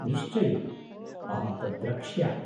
निश्चयेन्, अहं तत् द्रक्ष्यामि।